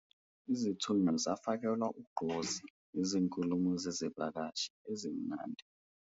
Izithunywa zafakelwa ugqozi yizinkulumo zezivakashi ezimnandi